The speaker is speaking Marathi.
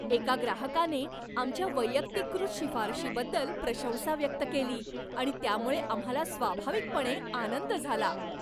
एका ग्राहकाने आमच्या वैयक्तिकृत शिफारशीबद्दल प्रशंसा व्यक्त केली आणि त्यामुळे आम्हाला स्वाभाविकपणे आनंद झाला.